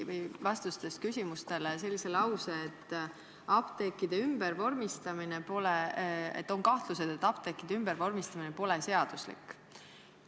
Te ütlesite küsimusele vastates sellise lause, et on kahtlused, et apteekide ümbervormistamine pole seaduslik.